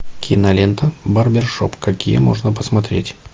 кинолента барбершоп какие можно посмотреть